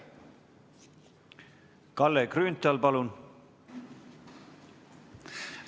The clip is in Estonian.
Kalle Grünthal, palun!